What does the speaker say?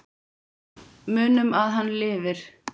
Munum að hann lifir.